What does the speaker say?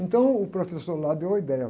Então, o professor lá deu a ideia.